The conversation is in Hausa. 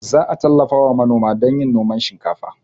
Za a tallafawa manoma don yin noman shinkafa